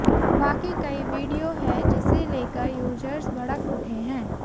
बाकि कई वीडियो है जिसे लेकर यूजर्स भड़क उठे हैं